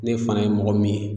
Ne fana ye mɔgɔ min ye